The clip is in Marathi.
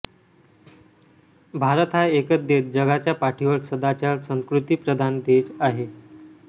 भारत हा एकच देश जगाच्या पाठीवर सदाचार संस्कृतीप्रधान देश आहे